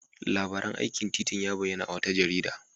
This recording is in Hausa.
Labarin aikin titin ya bayyana a wata jarida.